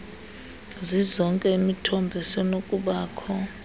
zizonke imithombo esenokubakho